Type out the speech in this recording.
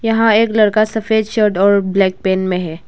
हाँ एक लड़का सफेद शर्ट और ब्लैक पेंट में है।